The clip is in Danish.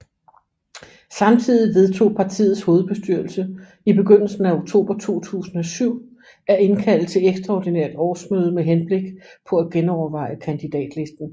Samtidig vedtog partiets hovedbestyrelse i begyndelsen af oktober 2007 at indkalde til ekstraordinært årsmøde med henblik på at genoverveje kandidatlisten